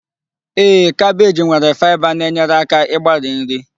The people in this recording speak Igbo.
Ee, kabeeji nwere faịba na-enyere aka ịgbari nri